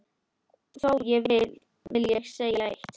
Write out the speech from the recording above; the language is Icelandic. Þó vil ég segja eitt.